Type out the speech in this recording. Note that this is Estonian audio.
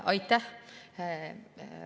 Aitäh!